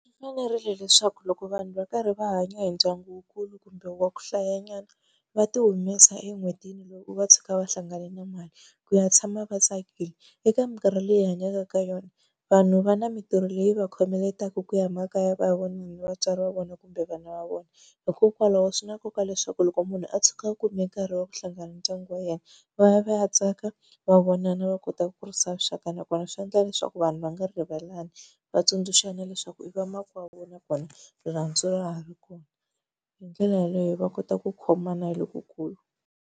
Swi fanerile leswaku loko vanhu va karhi va hanya hi ndyangu wukulu kumbe wa ku hlayanyana, va ti humesa en'hwetini loko va tshuka va hlangane na mali ku ya tshama va tsakile. Eka minkarhi leyi hi hanyaka ka yona vanhu va na mintirho leyi va khomeletaka ku ya makaya va hi vona ni vatswari va vona kumbe vana va vona, hikokwalaho swi na nkoka leswaku loko munhu a tshuka a kume nkarhi wa ku hlangana na ndyangu wa yena va ya va ya tsaka, va vonana, va kotaka ku kurisa vuxaka. Nakona swi endla leswaku vanhu va nga rivalani, va tsundzuxana leswaku i vamakwavo na kona rirhandzu ra ha ri kona. Hi ndlela yaleyo va kota ku khomana lokukulu.